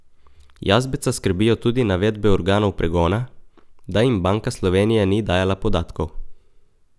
Jazbeca skrbijo tudi navedbe organov pregona, da jim Banka Slovenije ni dajala podatkov.